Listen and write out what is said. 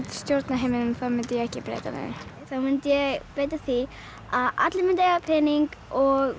stjórna heiminum mundi ég ekki breyta neinu þá myndi ég breyta því að allir myndu eiga pening og